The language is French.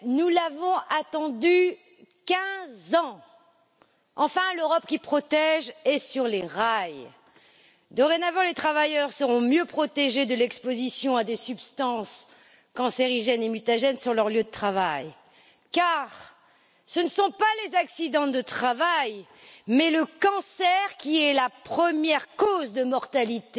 Madame la Présidente, mes chers collègues, nous l'avons attendue 15 ans. Enfin, l'Europe qui protège est sur les rails. Dorénavant, les travailleurs seront mieux protégés de l'exposition à des substances cancérigènes et mutagènes sur leur lieu de travail, car ce ne sont pas les accidents de travail, mais le cancer qui est la première cause de mortalité